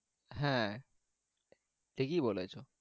হ্যাঁ ঠিকই বলেছ।